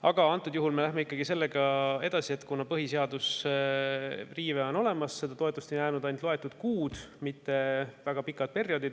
Aga antud juhul me läheme ikkagi sellega edasi, kuna põhiseaduse riive on olemas ja seda toetust on jäänud ainult loetud kuud, mitte enam väga pikk periood.